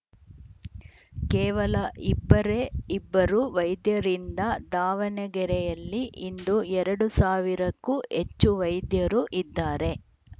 ಕೇವಲ ಇಬ್ಬರೇ ಇಬ್ಬರು ವೈದ್ಯರಿಂದ ದಾವಣಗೆರೆಯಲ್ಲಿ ಇಂದು ಎರಡು ಸಾವಿರಕ್ಕೂ ಹೆಚ್ಚು ವೈದ್ಯರು ಇದ್ದಾರೆ